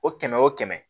O kɛmɛ o kɛmɛ